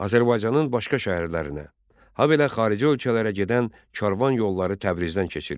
Azərbaycanın başqa şəhərlərinə, habelə xarici ölkələrə gedən karvan yolları Təbrizdən keçirdi.